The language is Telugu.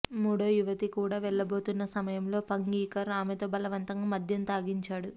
మూడో యువతి కూడా వెళ్లబోతున్న సమయంలో పంగీకర్ ఆమెతో బలవంతంగా మద్యం తాగించాడు